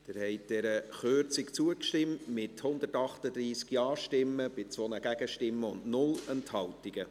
Sie haben dieser Kürzung zugestimmt, mit 138 Ja- gegen 2 Nein-Stimmen bei 0 Enthaltungen.